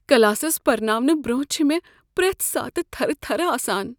Classes پرناونہٕ برٛۄنٛہہ چھےٚ مےٚ پرٛٮ۪تھ ساتہٕ تھرٕ تھرٕ آسان۔